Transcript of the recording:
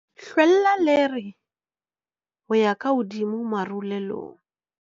Hlwella lere ho ya ka hodimo marulelong.